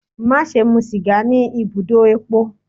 Maṣe mu siga ni ibudo epo!